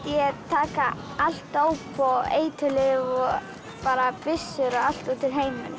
ég taka allt dóp og eiturlyf og bara byssur og allt út úr heiminum